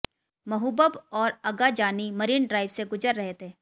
महूबब और Agha Jani Marine Drive से गुजर रहे थे